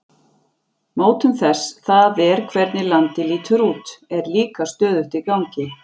Mótun þess, það er hvernig landið lítur út, er líka stöðugt í gangi.